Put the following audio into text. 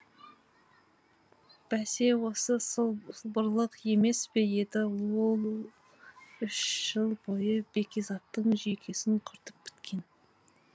бәсе осы сылбырлық емес пе еді он үш жыл бойы бекизаттың жүйкесін құртып біткен